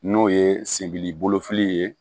N'o ye sendi bolo fili ye